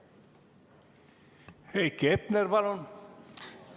Heiki Hepner, palun!